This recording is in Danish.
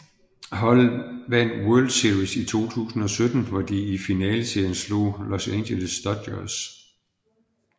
Holdet vandt World Series i 2017 hvor de i finaleserien slog Los Angeles Dodgers